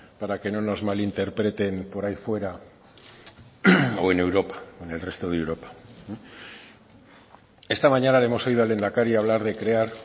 para que no nos malinterpreten por ahí fuera o en europa en el resto de europa esta mañana le hemos oído al lehendakari hablar de crear